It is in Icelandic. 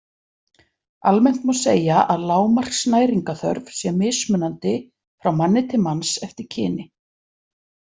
Almennt má segja að lágmarksnæringarþörf sé mismunandi frá manni til manns eftir kyni.